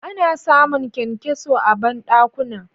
Ana samu kyankyaso a banɗakuna.